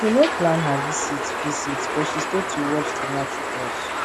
she no plan her visit visit but she stay to watch di match with us